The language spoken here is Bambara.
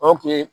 O tun ye